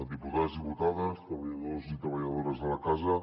diputats diputades treballadors i treballadores de la casa